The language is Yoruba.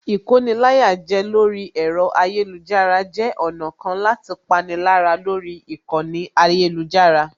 Ìkoni-láyàjẹ lórí ẹ̀rọ ayélujára jẹ́ ọ̀nà kan láti pani lára lórí ìkànnì ayélujára